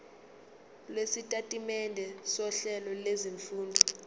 lwesitatimende sohlelo lwezifundo